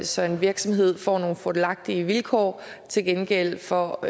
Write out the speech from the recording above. så en virksomhed får nogle fordelagtige vilkår til gengæld for